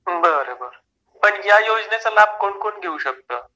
बरं बरं पण या योजनेचा लाभ कोण कोण घेऊ शकतो